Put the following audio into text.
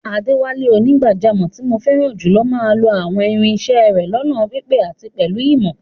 Adewale, onígbàjámọ̀ tí mo fẹ́ràn jùlọ máa ń lo àwọn irin isẹ́ rẹ̀ lọ́nà pípé àti pẹ̀lú ìmọ̀.